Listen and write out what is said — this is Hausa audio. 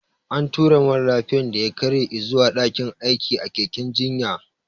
An tura mara lafiyan da ya karye izuwa daƙin aikin a keken jinya